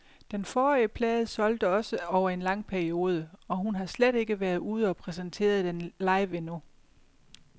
Den forrige plade solgte også over en lang periode, og hun har slet ikke været ude og præsentere den live endnu.